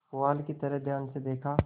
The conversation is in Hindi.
पुआल की तरफ ध्यान से देखा